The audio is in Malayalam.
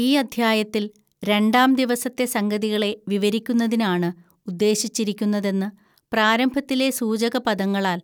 ഈ അദ്ധ്യായത്തിൽ രണ്ടാംദിവസത്തെ സംഗതികളെ വിവരിക്കുന്നതിനാണ് ഉദ്ദേശിച്ചിരിക്കുന്നതെന്ന് പ്രാരംഭത്തിലെ സൂചകപദങ്ങളാൽ